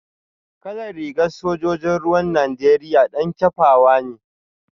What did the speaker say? Kalar rigar sojojin ruwan Najeriya dan kyafawa ne